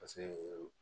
Paseke